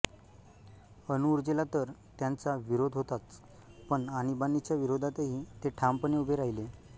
अणुऊर्जेला तर त्यांचा विरोध होताच पण आणीबाणीच्या विरोधातही ते ठामपणे उभे राहिले